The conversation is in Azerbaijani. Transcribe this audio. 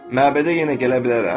Məbədə yenə gələ bilərəm?